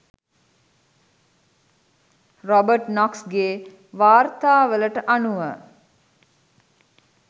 Robert නොක්ස්ගේ වාර්තාවලට අනුව